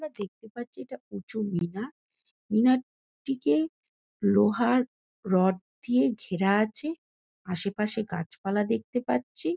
আমরা দেখতে পাচ্ছি এটা উঁচু মিনার। মিনার টিকে লোহার রড দিয়ে ঘেরা আছে। আশেপাশে গাছপালা দেখতে পাচ্ছি।